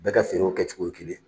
Bɛɛ ka ferew kɛcogo ye kelen ye.